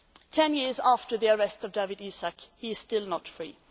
Ten years after the arrest of Dawit Isaak, he is still not free.